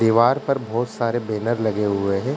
दिवार पर बोहोत सारे बैनर लगें हुए हैं।